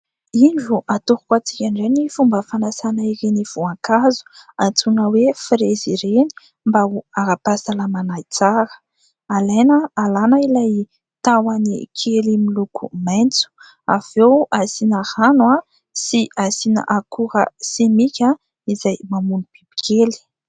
Indro atoroko antsika indray ny fomba fanasana ireny voankazo antsoina hoe firezy ireny mba ho ara-pahasalamana tsara. Alaina alana ilay tahony kely miloko maitso avy eo asiana rano sy asiana akora simika izay mamono bibikely.